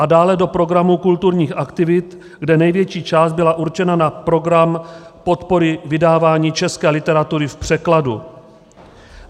A dále do programu kulturních aktivit, kde největší část byla určena na program podpory vydávání české literatury v překladu.